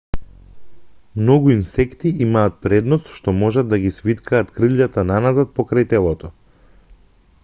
многу инсекти имаат предност што можат да ги свиткаат кријлата наназад покрај телото